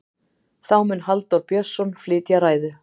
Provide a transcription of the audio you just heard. þá mun halldór björnsson flytja ræðu